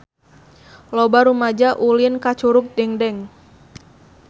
Loba rumaja ulin ka Curug Dengdeng